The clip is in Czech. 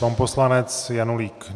Pan poslanec Janulík.